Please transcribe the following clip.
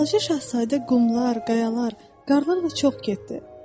Balaca Şahzadə qumlar, qayalar, qarlar ilə çox getdi.